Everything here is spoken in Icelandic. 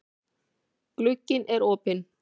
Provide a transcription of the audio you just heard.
Glugginn er opinn.